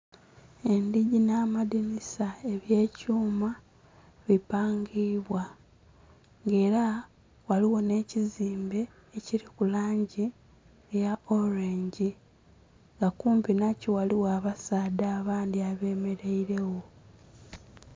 Endhigi nha amadhinisa ebye kyuma bipangibwa nga era ghaligho nhe kizimbe ekiliku langi eya olwengi nga kumpi nakyo ghaligho aba saadha abandhi abe mereire gho.